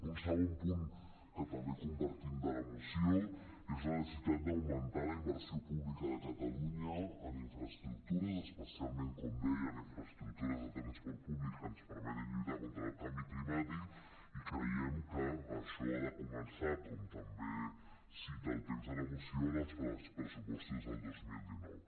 un segon punt que també compartim de la moció és la necessitat d’augmentar la inversió pública de catalunya en infraestructures especialment com deia en infraestructures de transport públic que ens permetin lluitar contra el canvi climàtic i creiem que això ha de començar com també cita el text de la moció en els pressupostos del dos mil dinou